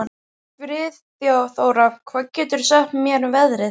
Friðþóra, hvað geturðu sagt mér um veðrið?